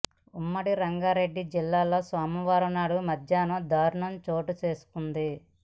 ఉమ్మడి రంగారెడ్డి జిల్లాలో సోమవారం నాడు మధ్యాహ్నం దారుణం చోటు చేసుకొంది